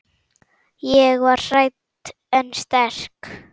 Ég var hrædd en sterk.